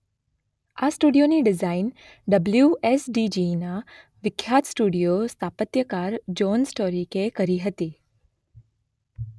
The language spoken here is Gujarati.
આ સ્ટુડિયોની ડિઝાઇન ડબલ્યુએસડીજીના વિખ્યાત સ્ટુડિયો સ્થાપત્યકાર જોન સ્ટોરિકે કરી હતી